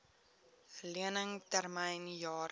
lening termyn jare